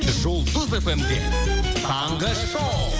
жұлдыз фм де таңғы шоу